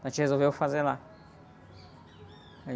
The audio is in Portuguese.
A gente resolveu fazer lá, aí...